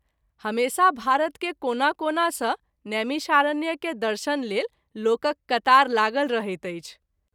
हमेशा भारत के कोना कोना सँ नैमिषारण्य के दर्शन लेल लोकक कतार लागल रहैत अछि।